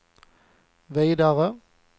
vidare